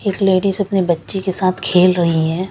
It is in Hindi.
एक लेडिज अपने बच्चे के साथ खेल रही है ।